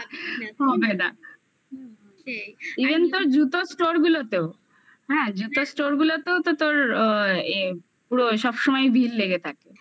even তোর জুতো store গুলোতেও. হ্যাঁ জুতো store গুলোতেও তো তোর আ এ পুরো সব সময়ই ভিড় লেগে থাকে।